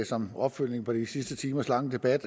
som opfølgning på de sidste timers lange debat